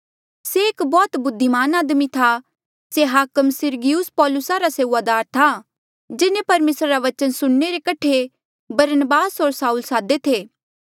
से एक बौह्त बुद्धिमान आदमी था से हाकम सिरगियुस पौलुसा रा सेऊआदार था जिन्हें परमेसरा रा बचन सुणने रे कठे बरनबास होर साऊल सादे थे